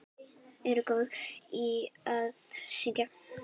Ertu góður í að syngja?